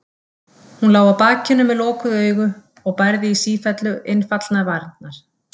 Hún lá á bakinu með lokuð augu og bærði í sífellu innfallnar varirnar.